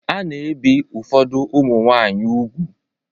A na-ebi ụfọdụ ụmụ nwanyị úgwù.